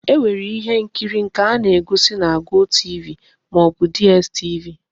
E nwere ihe nkiri nke a na-egosi na GOTV ma o bu DStv.